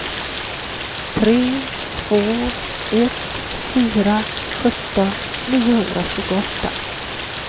tre två ett fyra sjutton niohundratjugoåtta